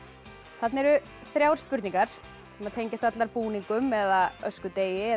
þarna eru þrjár spurningar sem tengjast allar búningum eða öskudegi eða